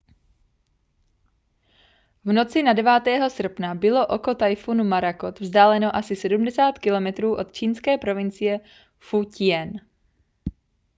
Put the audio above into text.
v noci na 9. srpna bylo oko tajfunu morakot vzdáleno asi 70 kilometrů od čínské provincie fu-ťien